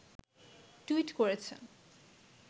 tweet করেছেন